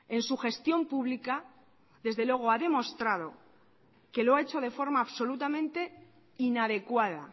en su gestión pública desde luego ha demostrado que lo ha hecho de forma absolutamente inadecuada